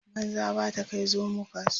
banza ba ta Kai zomo kasuwa